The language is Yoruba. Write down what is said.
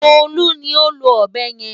Bólú ni ó lo ọ̀bẹ yẹn.